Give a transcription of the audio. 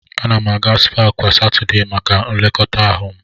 Ana m aga spaa kwa Satọdee maka nlekọta ihu m.